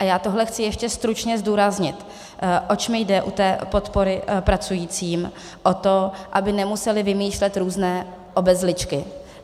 A já tohle chci ještě stručně zdůraznit, oč mi jde u té podpory pracujícím - o to, aby nemuseli vymýšlet různé obezličky.